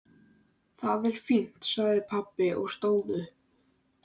Það er fínt sagði pabbi og stóð upp.